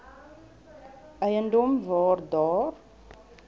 eiendom waar daar